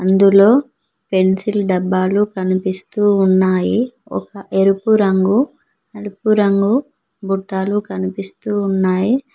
అందులో పెన్సిల్ డబ్బాలు కనిపిస్తూ ఉన్నాయి ఎరుపు రంగు నలుపు రంగు బుట్టలు కనిపిస్తూ ఉన్నాయి.